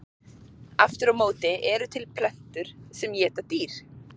Aftur á móti eru til plöntur sem éta dýr.